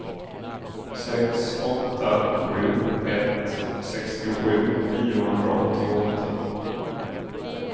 sex åtta sju ett sextiosju niohundraåttioåtta